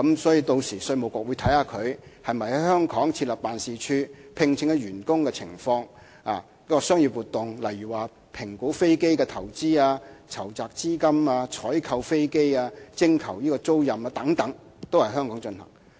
所以，屆時稅務局是會審視它們是否在香港設立辦事處、聘請員工的情況、商業活動，例如評估飛機的投資、籌集資金、採購飛機及徵求租賃等，也是需要在香港進行。